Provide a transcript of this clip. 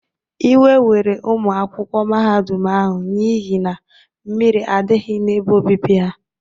Ịwe were ụmụ akwụkwọ mahadum ahụ n’ihi na mmiri adịghị n'ebe obibi ha.